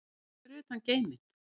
Hvað er fyrir utan geiminn?